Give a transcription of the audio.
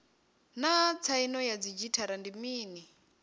naa tsaino ya didzhithala ndi mini